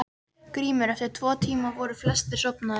GRÍMUR: Eftir tvo tíma voru flestir sofnaðir.